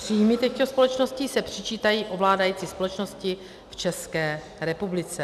Příjmy těchto společností se přičítají ovládající společnosti v České republice.